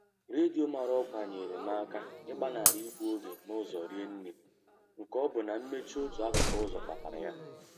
Redio mara ọkwa nyere m aka ịgbanarị igbu oge n'ụzọ rinne nke ọ bụ na mmechi otu akụkụ ụzọ kpatara ya.